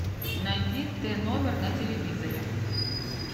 найди т номер на телевизоре